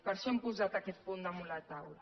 per això hem posat aquest punt damunt la taula